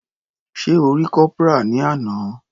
Sé O rí Corporal ní àná.